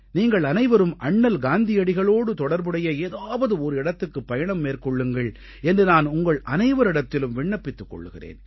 நீங்களனைவரும் அண்ணல் காந்தியடிகளோடு தொடர்புடைய ஏதாவது ஒரு இடத்துக்குப் பயணம் மேற்கொள்ளுங்கள் என்று நான் உங்களனைவரிடத்திலும் விண்ணப்பித்துக் கொள்கிறேன்